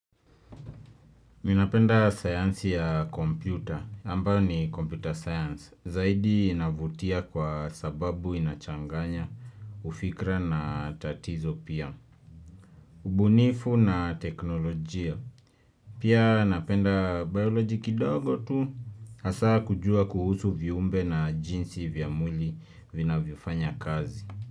Ninapenda sayansi ya kompyuta, ambayo ni komputa sayansi, zaidi inavutia kwa sababu inachanganya, ufikra na tatizo pia, ubunifu na teknolojia, pia napenda bioloji kidogo tu, asaa kujua kuhusu viumbe na jinsi vya mwili vinavyo fanya kazi.